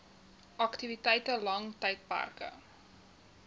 aktiwiteite lang tydperke